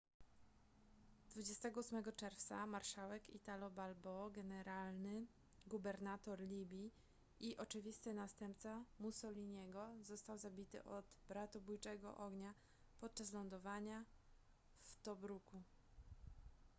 28 czerwca marszałek italo balbo generalny gubernator libii i oczywisty następca mussoliniego został zabity od bratobójczego ognia podczas lądowania w tobruku